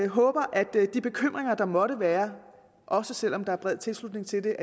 håber at de bekymringer der måtte være også selv om der er bred tilslutning til